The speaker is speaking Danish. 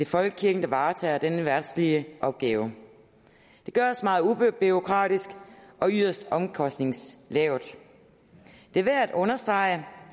folkekirken der varetager denne verdslige opgave det gøres meget ubureaukratisk og yderst omkostningslavt det er værd at understrege